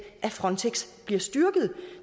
at frontex bliver styrket